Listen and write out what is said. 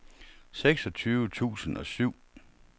seksogtyve tusind og syv